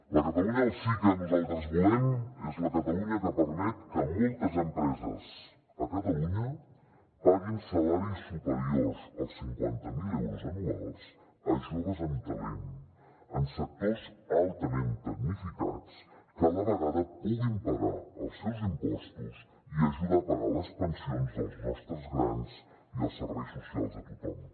la catalunya del sí que nosaltres volem és la catalunya que permet que moltes empreses a catalunya paguin salaris superiors als cinquanta mil euros anuals a joves amb talent en sectors altament tecnificats que a la vegada puguin pagar els seus impostos i ajudar a pagar les pensions dels nostres grans i els serveis socials de tothom